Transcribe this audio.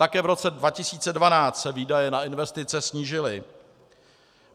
Také v roce 2012 se výdaje na investice snížily.